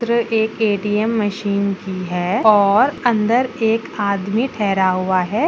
चित्र एक ATM. Machine की है और अंदर एक आदमी ठहरा हुआ है।